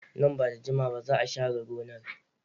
Nan ba da jimawa ba za a share gonar.